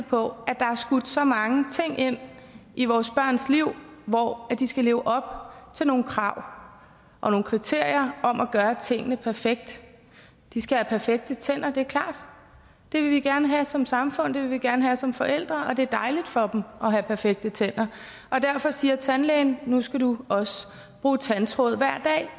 på at der er skudt så mange ting ind i vores børns liv hvor de skal leve op til nogle krav og nogle kriterier om at gøre tingene perfekt de skal have perfekte tænder det er klart det vil vi gerne have som samfund det vil vi gerne have som forældre og det er dejligt for dem at have perfekte tænder og derfor siger tandlægen at nu skal du bruge tandtråd hver dag